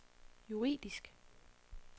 juridisk